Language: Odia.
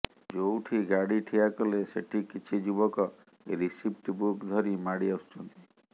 ଯୋଉଠି ଗାଡ଼ି ଠିଆ କଲେ ସେଠି କିଛି ଯୁବକ ରିସିପ୍ଟ ବୁକ୍ ଧରି ମାଡ଼ି ଆସୁଛନ୍ତି